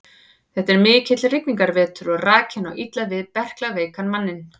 Þetta er mikill rigningarvetur og rakinn á illa við berklaveikan manninn.